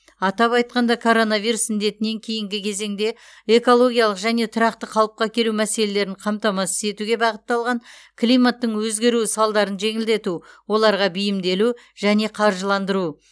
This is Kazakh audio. атап айтқанда коронавирус індетінен кейінгі кезеңде экологиялық және тұрақты қалыпқа келу мәселелерін қамтамасыз етуге бағытталған климаттың өзгеруі салдарын жеңілдету оларға бейімделу және қаржыландыру